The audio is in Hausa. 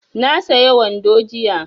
Na saya wando jiya